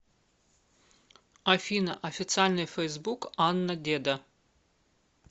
афина официальный фейсбук анна деда